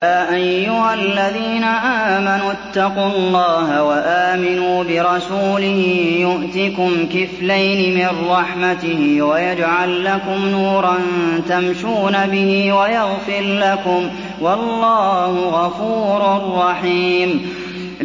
يَا أَيُّهَا الَّذِينَ آمَنُوا اتَّقُوا اللَّهَ وَآمِنُوا بِرَسُولِهِ يُؤْتِكُمْ كِفْلَيْنِ مِن رَّحْمَتِهِ وَيَجْعَل لَّكُمْ نُورًا تَمْشُونَ بِهِ وَيَغْفِرْ لَكُمْ ۚ وَاللَّهُ غَفُورٌ رَّحِيمٌ